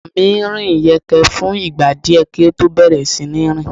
Ọmọ mí rìn yẹ́nkẹ́n fún ìgbà díẹ̀ kí ó tó bẹ̀rẹ̀ sí ní rìn.